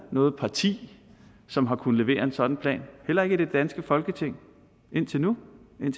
noget parti som har kunnet levere en sådan plan heller ikke i det danske folketing indtil nu